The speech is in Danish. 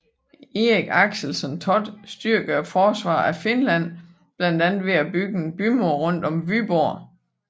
Erik Axelsson Thott styrkede forsvaret af Finland blandt andet ved at bygge en bymur rundt om Vyborg